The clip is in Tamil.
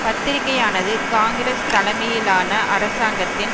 பத்திரிகையானது காங்கிரஸ் தலைமையிலான அரசாங்கத்தின்